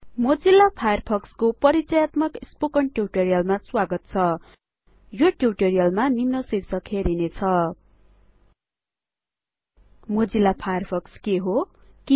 Mozilla फायरफक्सको परिचयात्मक spoken टिउटोरियलमा स्वागत छ यो टिउटोरियलमा निम्न शीर्षक हेरिने छ160 मोजिल्ला फायरफक्स के हो त